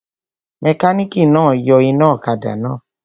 Mẹkánìkì náà yọ iná ọ̀kadà náà